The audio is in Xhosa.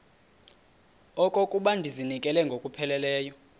okokuba ndizinikele ngokupheleleyo